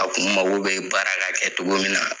A kun mako bɛ baara ka kɛ cogo min na